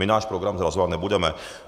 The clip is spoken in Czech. My náš program zrazovat nebudeme.